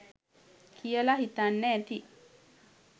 කියලා හිතන්න ඇති